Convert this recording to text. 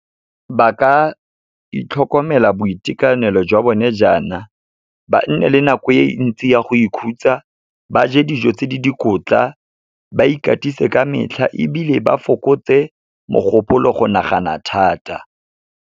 Ba ka itlhokomela boitekanelo jwa bone jaana, ba nne le nako e ntsi ya go ikhutsa, ba je dijo tse di dikotla, ba ikatise ka metlha ebile ba fokotse mogopolo go nagana thata.